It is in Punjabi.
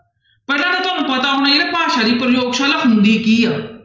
ਪਹਿਲਾਂ ਤਾਂ ਤੁਹਾਨੂੰ ਪਤਾ ਹੋਣਾ ਭਾਸ਼ਾ ਦੀ ਪ੍ਰਯੋਗਸ਼ਾਲਾ ਹੁੰਦੀ ਕੀ ਆ।